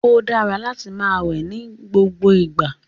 O dara láti máa wẹ nigbogbo igba